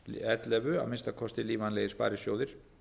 ellefu að minnsta kosti lífvænlegir sparisjóðir